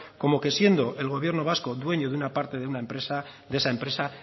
como que siendo el gobierno vasco dueño de una parte de una empresa de esa empresa